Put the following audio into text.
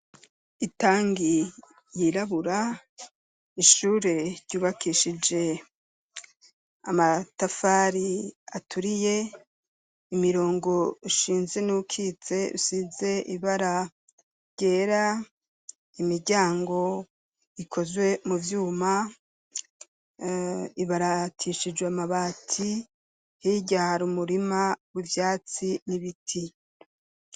Itanki yirabura ,ishure ryubakishije amatafari aturiye ,imirongo ushinze n'uwukitse usize ibara ryera ,imiryango ikozwe mu vyuma ibaratishijwe amabati, hirya hari umurima w'ivyatsi n'ibiti.